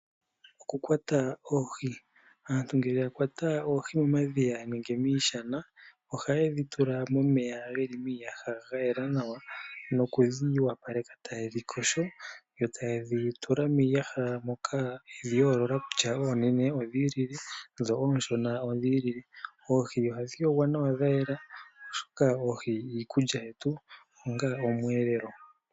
OKukwata oohi, aantu ngele ya kwata oohi momadhiya nenge miishana ohaye dhi tula momeya miiyaha muna omeya ga yela nawa nokudhi yopaleka taye dhi yogo nokudhi tula miiyaha moka yedhi yoolola kutya oonene odhiilile noonshona odhiilile. Oohi ohadhi yogwa nawa dha yela oshoka oohi iikulya yetu onga omweelelo.